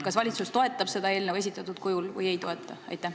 Kas valitsus toetab seda eelnõu esitatud kujul või ei toeta?